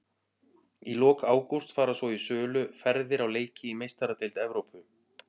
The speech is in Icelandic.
Í lok ágúst fara svo í sölu ferðir á leiki í Meistaradeild Evrópu.